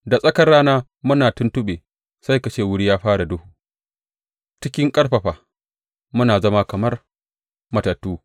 Da tsakar rana muna tuntuɓe sai ka ce wuri ya fara duhu; cikin ƙarfafa, mun zama kamar matattu.